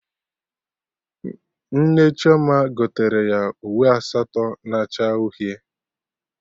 Nne Chioma gotere ya uwe asatọ na acha uhie